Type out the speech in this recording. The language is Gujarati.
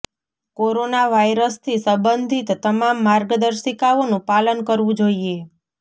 કોરોના વાયરસ થી સંબંધિત તમામ માર્ગદર્શિકાઓનું પાલન કરવું જોઈએ